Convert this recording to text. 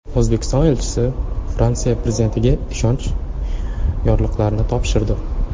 O‘zbekiston elchisi Fransiya prezidentiga ishonch yorliqlarini topshirdi.